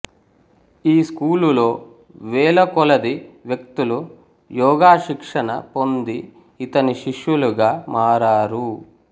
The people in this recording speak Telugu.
ఈ స్కూలులో వేలకొలది వ్యక్తులు యోగశిక్షణ పొంది ఇతని శిష్యులుగా మారారు